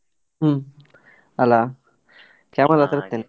ಹ್ಮ್ ಅಲ್ಲ, camera .